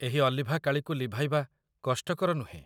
ଏହି ଅଲିଭା କାଳିକୁ ଲିଭାଇବା କଷ୍ଟକର ନୁହେଁ